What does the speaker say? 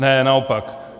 Ne, naopak.